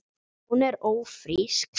Hún er ÓFRÍSK!